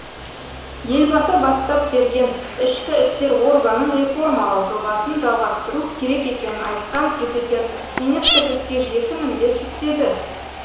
елбасы бастап берген ішкі істер органын реформалау жобасын жалғастыру керек екенін айтқан президент министрлікке жеті міндет жүктеді